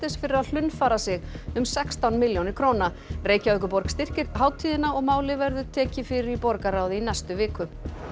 fyrir að hlunnfara sig um sextán milljónir króna Reykjavíkurborg styrkir hátíðina og málið verður tekið fyrir í borgarráði í næstu viku